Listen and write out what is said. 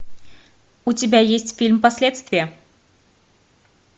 у тебя есть фильм последствия